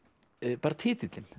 bara titillinn